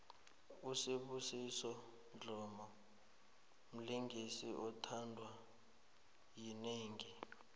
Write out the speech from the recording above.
usibusiso dlomo mlingisi othandwa yinengi